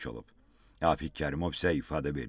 Rafiq Kərimov isə ifadə verdi ki,